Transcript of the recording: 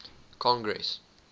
congress